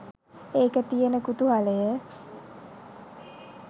ඒක තියෙන කුතුහලය